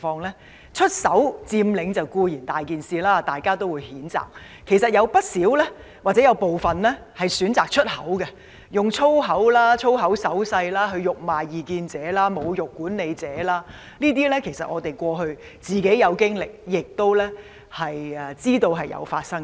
學生"出手"佔領固然問題嚴重，大家都會予以譴責；但部分學生其實會"出口"，例如以粗話及粗話手勢辱罵異見者和侮辱管理者，我們自己也遇過這類行為，亦知道曾經發生這種情況。